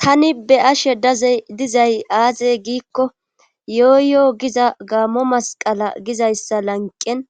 Tani be7ashe dazey dizay aaze giikko yoo yo giza gaamo masqqala gizayssa lanqqen